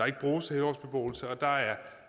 lavet